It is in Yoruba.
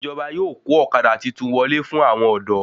Ìjọba yóò kó ọ̀kadà titun wọlé fún àwọn ọ̀dọ́